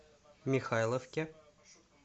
михайловке